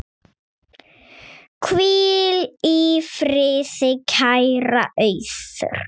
Hvíl í friði, kæra Auður.